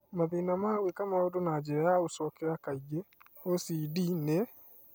Mathĩna ma gwĩka maũndũ na njĩra ya gũcokera kaingĩ (OCD) nĩ